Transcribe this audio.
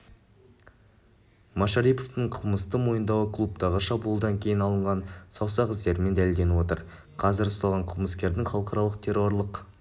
машариповтың қылмысты мойындауы клубтағы шабуылдан кейін алынған саусақ іздерімен дәлелденіп отыр қазір ұсталған қылмыскердің халықаралық террорлық